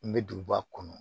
N bɛ duguba kɔnɔ